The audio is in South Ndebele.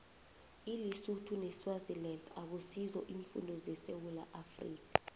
ilisotho neswaziland akusizo iimfunda zesewula afrika